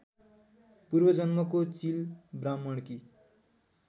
पूर्वजन्मको चिल ब्राह्मणकी